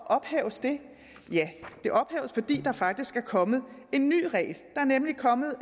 ophæves det det ophæves fordi der faktisk er kommet en ny regel der er nemlig kommet